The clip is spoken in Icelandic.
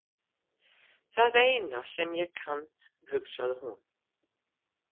Það eina sem ég kann, hugsaði hún.